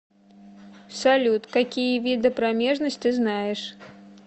салют какие виды промежность ты знаешь